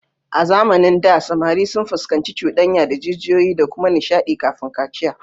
A zamanin da, samari sun fuskanci cuɗanya da jijiyoyi da kuma nishadi kafin kaciya